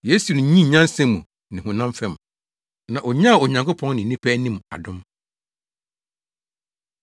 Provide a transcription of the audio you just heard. Yesu nyinii nyansa mu ne honam fam, na onyaa Onyankopɔn ne nnipa anim adom.